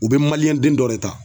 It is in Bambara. U be den dɔ de ta